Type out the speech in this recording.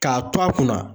K'a to a kunna